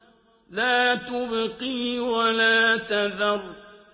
لَا تُبْقِي وَلَا تَذَرُ